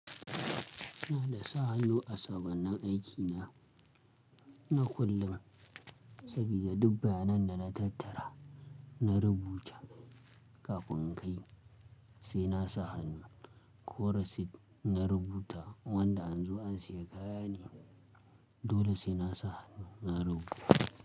Ni ina sa hannu a sabon nan aiki na, na kullum saboda duk bayanan da na tattara, na rubuta kafin in kai sai na sa hannu. Ko rasit na rubuta wanda an zo an siya kaya ne dole sai na sa hannu na rubuta.